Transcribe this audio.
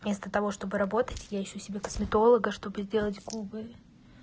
вместо того чтобы работать я ищу себе косметолога чтобы сделать губы